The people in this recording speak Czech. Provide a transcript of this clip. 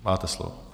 Máte slovo.